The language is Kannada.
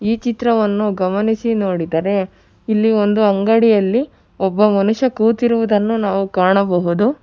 ಈ ಚಿತ್ರವನ್ನು ಗಮನಿಸಿ ನೋಡಿದರೆ ಇಲ್ಲಿ ಒಂದು ಅಂಗಡಿಯಲ್ಲಿ ಒಬ್ಬ ಮನುಷ್ಯ ಕೂತಿರುವುದನ್ನು ನಾವು ಕಾಣಬಹುದು.